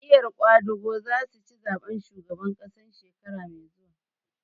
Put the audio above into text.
Jam'iyar ƙwadago za su ci zaɓen shugaban ƙasa shekara mai zuwa